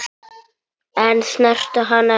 En snertu hana ekki.